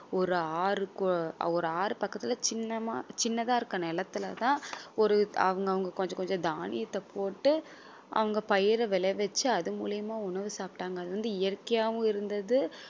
ஒரு ஆறு கு~ ஒரு ஆறு பக்கத்துல சின்னமா சின்னதா இருக்க நிலத்துல தான் ஒரு அவங்க அவங்க கொஞ்சம் கொஞ்சம் தானியத்தை போட்டு அவங்க பயிர விளைவிச்சு அது மூலியமா உணவு சாப்பிட்டாங்க அது வந்து இயற்கையாவும் இருந்தது